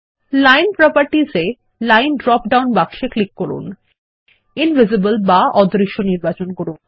line properties এ style drop down বাক্সে click করুন ইনভিজিবল বা অদৃশ্য নির্বাচন করুন